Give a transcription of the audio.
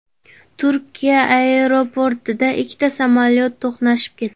Turkiya aeroportida ikkita samolyot to‘qnashib ketdi.